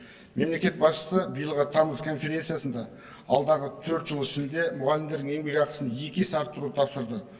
мемлекет басшысы биылғы тамыз конференциясында алдағы төрт жыл ішінде мұғалімдердің еңбекақысын екі есе арттыруды тапсырды